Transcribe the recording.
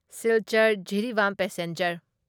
ꯁꯤꯜꯆꯔ ꯖꯤꯔꯤꯕꯥꯝ ꯄꯦꯁꯦꯟꯖꯔ